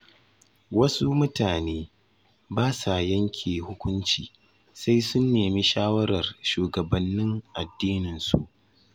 Wasu mutane ba sa yanke hukunci sai sun nemi shawarar shugabannin addininsu.